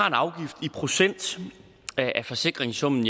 en afgift i procent af forsikringssummen